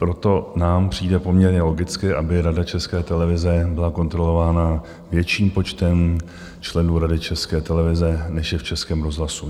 Proto nám přijde poměrně logické, aby Rada České televize byla kontrolována větším počtem členů Rady České televize, než je v Českém rozhlasu.